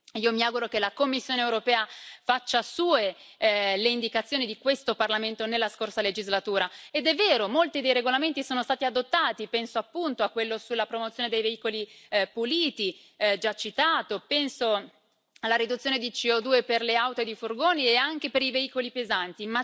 Io mi auguro che la Commissione europea faccia sue le indicazioni di questo Parlamento nella scorsa legislatura, ed è vero, molti dei regolamenti sono stati adottati, penso appunto a quello sulla promozione dei veicoli puliti, già citato, penso alla riduzione di CO2 per le auto ed i furgoni e anche per i veicoli pesanti.